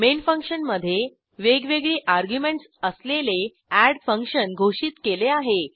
main फंक्शनमधे वेगवेगळी arguments असलेले एड फंक्शन घोषित केले आहे